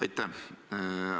Aitäh!